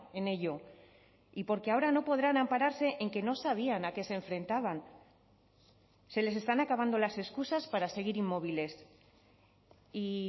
en ello y porque ahora no podrán ampararse en que no sabían a qué se enfrentaban se les están acabando las excusas para seguir inmóviles y